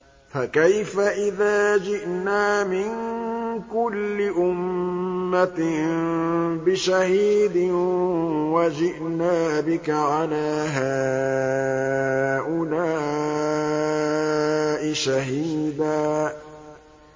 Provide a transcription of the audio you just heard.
فَكَيْفَ إِذَا جِئْنَا مِن كُلِّ أُمَّةٍ بِشَهِيدٍ وَجِئْنَا بِكَ عَلَىٰ هَٰؤُلَاءِ شَهِيدًا